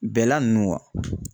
Bɛla ninnu